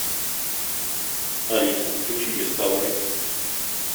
алиса включи дискавери